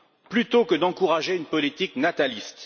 plutôt que d'encourager une politique nataliste.